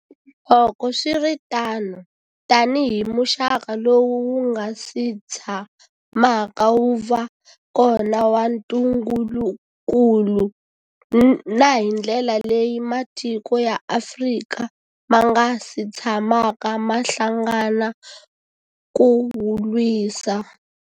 Loko swi ri tano, tanihi muxaka lowu wu nga si tshamaka wu va kona wa ntungukulu, na hi ndlela leyi matiko ya Afrika ma nga si tshamaka ma hlangana ku wu lwisa.